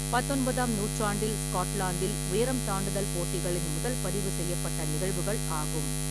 பத்தொன்பதாம் நூற்றாண்டில் ஸ்காட்லாந்தில் உயரம் தாண்டுதல் போட்டிகளின் முதல் பதிவு செய்யப்பட்ட நிகழ்வுகள் ஆகும்.